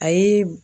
A ye